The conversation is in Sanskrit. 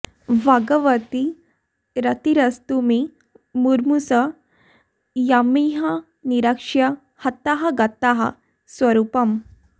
भगवति रतिरस्तु मे मुमूर्षोः यमिह निरीक्ष्य हताः गताः सरूपम्